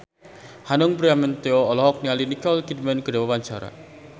Hanung Bramantyo olohok ningali Nicole Kidman keur diwawancara